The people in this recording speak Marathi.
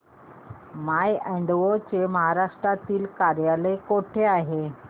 माय अॅडवो चे महाराष्ट्रातील कार्यालय कुठे आहे